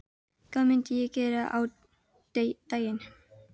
Hvað myndi ég gera á daginn?